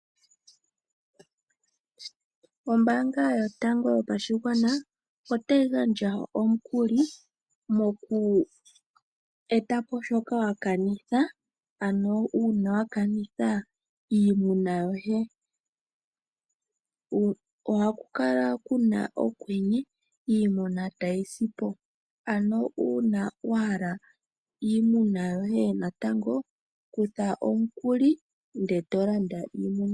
Ombanga yotango yopashingwana otayi gandja omukuli moku etapo shoka wakanitha ano una wakanitha iimuna yoye, oha kukala kuna okwenye iimuna tayisipo ano una wahala iimuna yoye natango kutha omukuli nde tolanda iimuna.